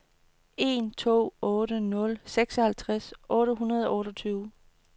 en to otte nul syvoghalvtreds otte hundrede og otteogtyve